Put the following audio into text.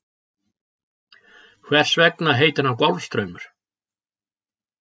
Hvers vegna heitir hann Golfstraumur?